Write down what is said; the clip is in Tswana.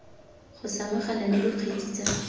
go samagana le dikgetse tsa